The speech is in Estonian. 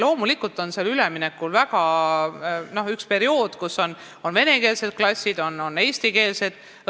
Loomulikult tuleb üleminekul üks periood, kus on venekeelsed klassid ja on eestikeelsed klassid.